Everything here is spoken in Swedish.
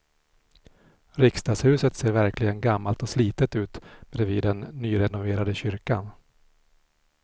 Riksdagshuset ser verkligen gammalt och slitet ut bredvid den nyrenoverade kyrkan.